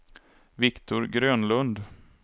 Viktor Grönlund